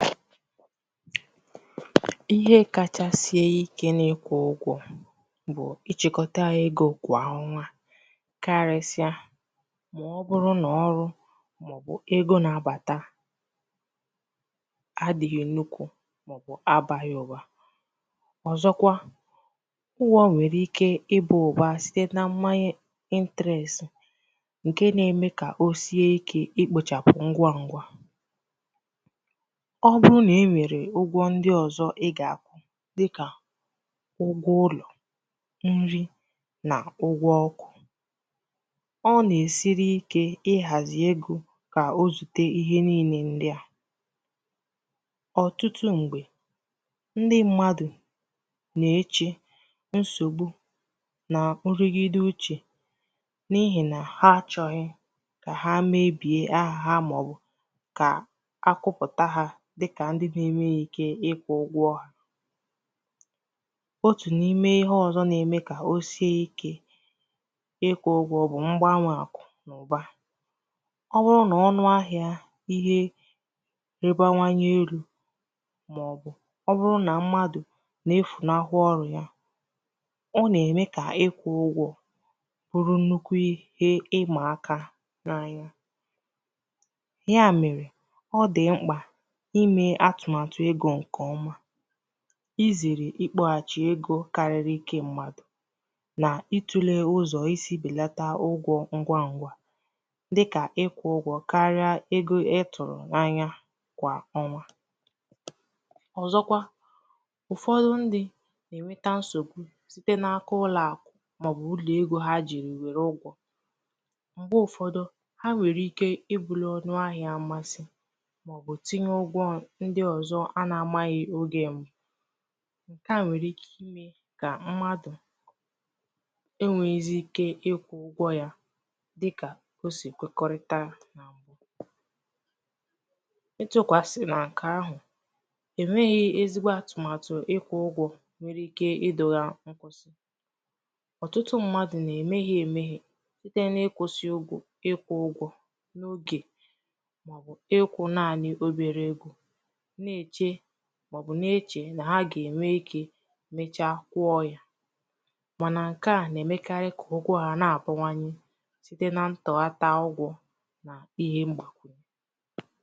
Ihe kacha sìe ike n’ịkwụ̄ ụgwọ̄ bụ̀ ịchị̄kọta egō kwà ọnwa karịsị̀a màọbụrụ nà ọrụ màọbụ̀ egō na-àbàta adị̄ghị̄ nnukwu màọbụ̀ abāghị̄ ụ̀ba ọ̀zọkwa ụgwọ̄ nwèrè ike ịbā ụ̀ba site nà mmanye intēresị̀ ǹkè nà-eme ka o sìe ike ikpōchàpụ̀ ngwangwā ọ bụrụ nà i nwèrè ụgwọ̄ ndi ọzọ̄ ị gà-àkwụ dịkà ụgwọ ụlọ̀ nri nà ụgwọ̄ ọkụ ọ nà-èsiri ike ihàzì egō kà ozùte ihe niinē ndi a ọ̀tụtụ m̀gbè ndi mmadụ̀ na-echè nsògbu nà nrigide uchè n’ihì nà ha achọ̄ghị̄ kà ha mebiè ahà ha màọbụ̀ kà akụpụ̀ta ha dikà ndi enwēghī ike ịkwụ̄ ụgwọ̄ otù n’ime ihe ọzọ̄ na-eme kà osie ikē ịkwụ̄ ụgwọ̄ bụ̀ mgbanwè àkụ̀nàụ̀ba ọ bụrụ nà ọnụ ahịā ihē banwanye erū màọbụ̀ ọbụrụ nà mmadụ̀ na-efùnahụ ọrụ̄ ya ọ nà-ème kà ịkwụ̄ ụgwọ̄ bụrụ nnukwu ihe ịmàaka n’anya ya mèrè ọ dị̀ m̀kpà imē atụ̀màtụ̀ egō ǹkèọma izèrè ikpọ̄hàchì egō kariri ǹkè mmadụ̀ na itūlē ụzọ̀ isī bèlata ụgwọ̄ ngwangwā dịkà ikwụ̄ ụgwọ̄ karịa ihe ịtụ̀rụ̀ na anya kwà ọnwa ọ̀zọkwa ụ̀fọdụ ndi na-ènweta nsògbu site nà ụlọ̀àkụ̀ màọbụ̀ ụlọ̀egō ha jèrè wère ụgwọ̄ m̀gbè ụfọ̄dụ̄ ha nwèrè ike ị bụrụ̄ ọnụ ahịā masị màọbụ̀ tinye ụgwọ̄ ndi ọ̀zọ anà amāghị̄ ogè m ǹkè a nwèrè ike imē kà mmadụ̀ e nwēēzi ike ịkwụ̄ ya dịkà kà o sì kwekọrịta nà m̀bụ e chēkwàsị̀nà ǹkè ahụ̀ e nwēghī ezigbo àtụ̀màtụ̀ ịkwụ̄ ụgwọ̄ nwere ikē idōgā nkwụsị ọ̀tụtụ ndi mmadụ̀ nà-emèhe emēhè site n’ịkwụ̄sị̄ ịkwụ̄ ụgwọ̄ n’ogè màọbụ̀ ịkwụ̄ naanị̄ obere egō na-èche màọbụ̀ na-echè nà ha gà-ènwe ikē mechaa kwụọ ya mànà ǹkè a nà-èmekarị kà ụgwọ ha nà-àbawanye site ntọhata ụgwọ na ihe mgbàkwunye